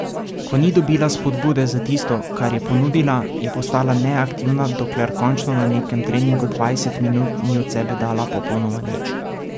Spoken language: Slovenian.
Ko ni dobila spodbude za tisto, kar je ponudila, je postala neaktivna, dokler končno na nekem treningu dvajset minut ni od sebe dala popolnoma nič.